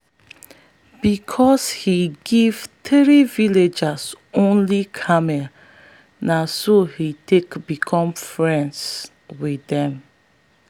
because he give three villages only camels na so he take become friends with them.